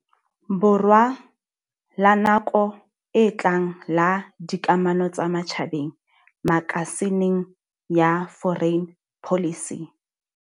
Borwa la nako e tlang la dikamano tsa matjhabeng makasi ning ya Foreign Policy.